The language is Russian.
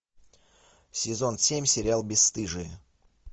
сезон семь сериал бесстыжие